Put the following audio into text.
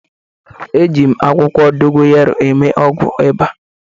Eji m akwụkwọ dogoyaro eme ọgwụ ịba